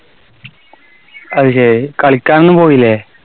അതുശരി. കളിക്കാനൊന്നും പോയില്ലേ?